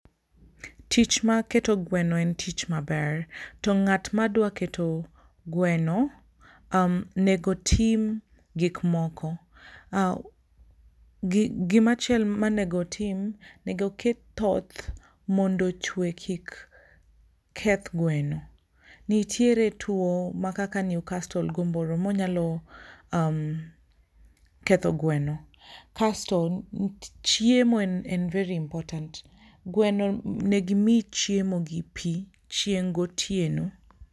Tich mar keto gweno en tich maber. To ng'at madwa keto gweno onego otim gik moko. Gimachielomonego otim onego oket thoth mondo ochwe kik koth gweno. Nitiere tuo ma kaka newcastle? manyalo ketho gweno,.kasto chiemo en v ery important. Gweno onego imi chiemo gi pii chieng gotieno